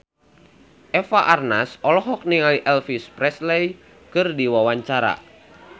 Eva Arnaz olohok ningali Elvis Presley keur diwawancara